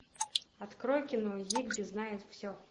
открой кино зигби знает все